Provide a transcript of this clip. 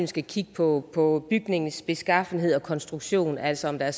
skal kigge på på bygningens beskaffenhed og konstruktionen altså om der